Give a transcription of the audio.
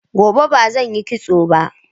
Gobe ba zan yi kitso ba.